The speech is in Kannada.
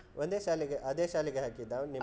ಒಂದೇ ಶಾಲೆಗೆ ಅದೇ ಶಾಲೆಗೆ ಹಾಕಿದ್ದಾ ನಿಮ್ಮ.